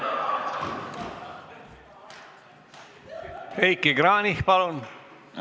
Heiki Kranich, palun!